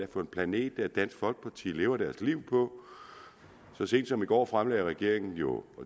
for en planet dansk folkeparti lever deres liv på så sent som i går fremlagde regeringen jo og